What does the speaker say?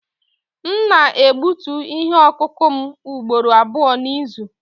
M na-egbutu ihe ọkụkụ m ugboro abụọ n'izu.